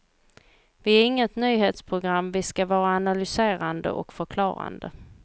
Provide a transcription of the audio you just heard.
Vi är inget nyhetsprogram, vi ska vara analyserande och förklarande.